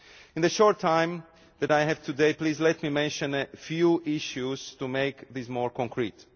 In the short time that I have today, please let me mention a few issues to make this more concrete.